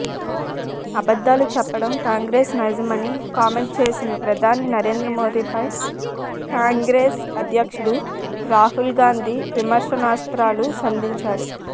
అబద్ధాలు చెప్పడం కాంగ్రెస్ నైజమని కామెంట్ చేసిన ప్రధాని నరేంద్రమోడీపై కాంగ్రెస్ అధ్యక్షుడు రాహుల్ గాంధీ విమర్శనాస్త్రాలు సంధించారు